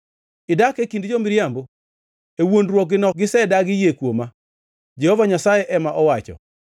Idak e kind jo-miriambo; e wuondruokgino gisedagi yie kuoma.” Jehova Nyasaye ema owacho.